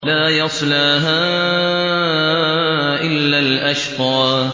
لَا يَصْلَاهَا إِلَّا الْأَشْقَى